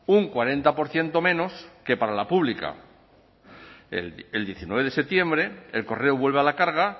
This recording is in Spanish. un cuarenta por ciento menos que para la pública el diecinueve de septiembre el correo vuelve a la carga